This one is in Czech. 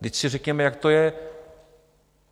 Vždyť si řekněme, jak to je.